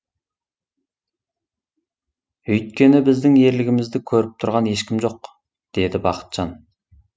өйткені біздің ерлігімізді көріп тұрған ешкім жоқ деді бақытжан